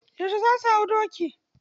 Yauce za su hau doki?